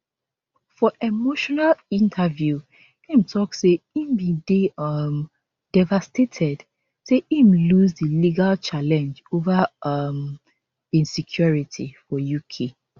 for emotional interview im tok say e bin dey um devastated say im lose di legal challenge ova um im security for uk